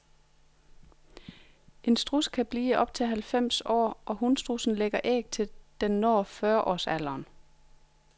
En struds kan blive op til halvfems år, og hunstrudsen lægger æg til den når fyrreårsalderen.